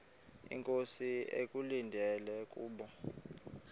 inkosi ekulindele kubo